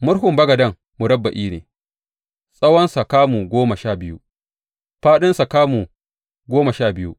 Murhun bagaden murabba’i ne, tsawonsa kamu goma sha biyu, fāɗinsa kuma kamu goma sha biyu.